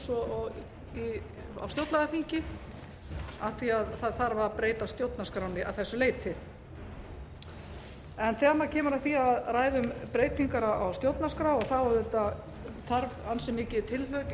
og á stjórnlagaþingi af því að það þarf að bresta stjórnarskránni að þessu leyti þegar maður kemur að því að ræða um breytingar á stjórnarskrá þá auðvitað þarf ansi mikið tilhlaup